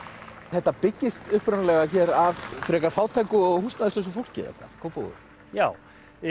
þetta byggist upprunalega hér af frekar fátæku og fólki eða hvað Kópavogur já